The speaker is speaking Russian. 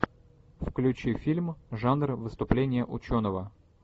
включи фильм жанр выступление ученого